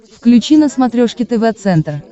включи на смотрешке тв центр